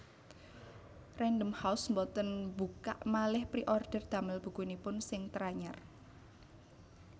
Random House mboten buka maleh preorder damel bukunipun sing teranyar